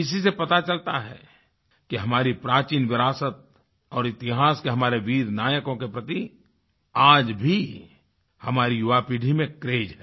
इसी से पता चलता है कि हमारी प्राचीन विरासत और इतिहास के हमारे वीर नायकों के प्रति आज भी हमारी युवापीढ़ी में क्रेज है